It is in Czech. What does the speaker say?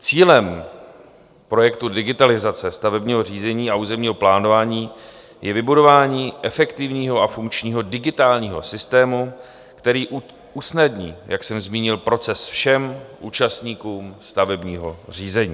Cílem projektu digitalizace stavebního řízení a územního plánování je vybudování efektivního a funkčního digitálního systému, který usnadní, jak jsem zmínil, proces všem účastníkům stavebního řízení.